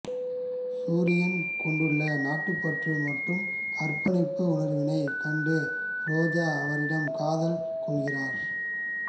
சூரியன் கொண்டுள்ள நாட்டுப்பற்று மற்றும் அர்ப்பணிப்பு உணர்வினைக் கண்டு ரோஜா அவரிடம் காதல் கொள்கிறார்